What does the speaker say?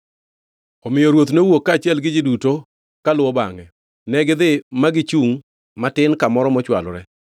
Omiyo ruoth nowuok kaachiel gi ji duto kaluwo bangʼe, negidhi ma gichungʼ matin kamoro mochwalore.